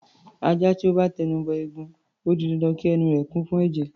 Ajá tó bá ti ẹnu bọ ẹ̀gún, ó di dandan kí ẹnu rẹ̀ kún fún ẹ̀jẹ̀.